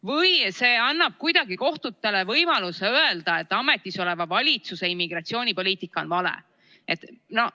Või see annab kuidagi kohtutele võimaluse öelda, et ametisoleva valitsuse immigratsioonipoliitika on vale?